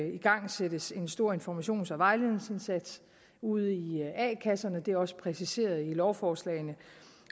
igangsættes en stor informations og vejledningsindsats ude i a kasserne det er også præciseret i lovforslagene